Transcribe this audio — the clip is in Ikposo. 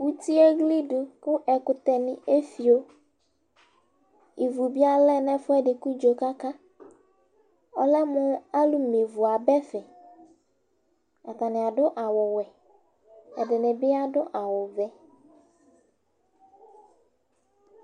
uti eɣlidu ku ɛkutɛ ni efio, ivi bi alɛ nu ɛfuɛdi kudzo kaka , ɔlɛ mu alu me ivu aba ɛfɛ, ata ni adu awu wɛ ɛdini bi adu awu vɛ